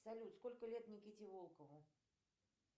салют сколько лет никите волкову